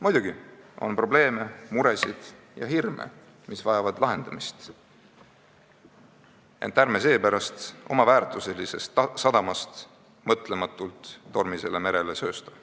Muidugi on probleeme, muresid ja hirme, mis vajavad lahendamist, ent ärme seepärast oma väärtuselisest sadamast mõtlematult tormisele merele söösta.